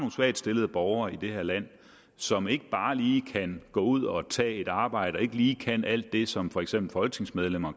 svagtstillede borgere i det her land som ikke bare lige kan gå ud og tage et arbejde og ikke lige kan alt det som for eksempel folketingsmedlemmer